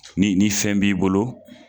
Ni ni fɛn b'i bolo